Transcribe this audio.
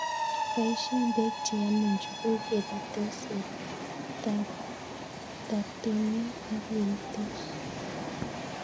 Poishe peek che yemei njuguk, ye pitos, ye taptonio ak ye itos